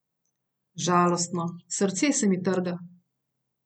Žalostno, srce se mi trga.